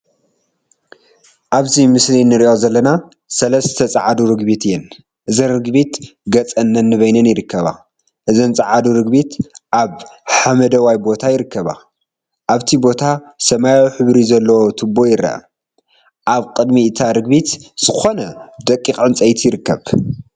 አብዚ ምስሊ እንሪኦ ዘለና ሰለስተ ፃዓዱ ርግቢት እየን፡፡ እዘን ርግቢት ገፀን ነንበይነን ይርከባ፡፡ እዘን ፀዓዱ ርግቢት አብ ሓመደዋይ ቦታ ይርከባ ፡፡ አብቲ ቦታ ሰማያዊ ሕብሪ ዘለዎ ቱቦ ይርአ፡፡ አብ ቅድሚ እታ ርግቢት ዝኮነ ደቂቅ ዕንፀይቲ ይርከብ፡፡